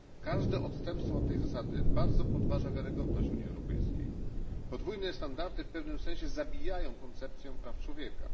Każde odstępstwo od tej zasady podważa wiarygodność Unii Europejskiej. Podwójne standardy w pewnym sensie zabijają koncepcję praw człowieka.